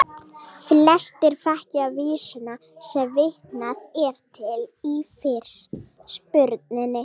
Flestir þekkja vísuna sem vitnað er til í fyrirspurninni.